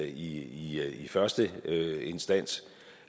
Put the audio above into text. i første instans